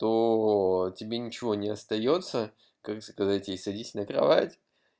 то тебе ничего не остаётся как сказать ей садись на кровать